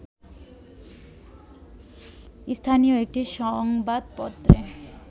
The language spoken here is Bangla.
স্থানীয় একটি সংবাদপত্রে